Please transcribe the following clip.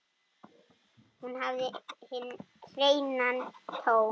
Hún hafði hinn hreina tón.